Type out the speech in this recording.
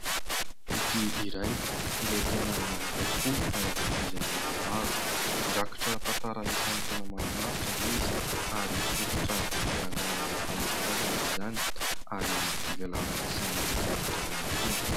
Boky iray izay tena miavaka tokoa ary hankafizin'ny olona maro. Mirakitra tantara isan'ny tena mahafinaritra izy ary fototra hiangan'ny fanabeazana izany, ary fivelaran'ny sainan'ny mpianatra ihany koa.